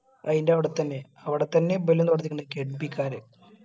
അയിന്റെ അവിടെത്തന്നെ അവിടെത്തന്നെ ഇബ്ബലും തൊടങ്ങിയിട്ടുണ്ട് കെട്ബികാര്